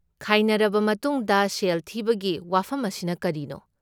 ꯈꯥꯏꯅꯔꯕ ꯃꯇꯨꯡꯗ ꯁꯦꯜ ꯊꯤꯕꯒꯤ ꯋꯥꯐꯝ ꯑꯁꯤꯅ ꯀꯔꯤꯅꯣ?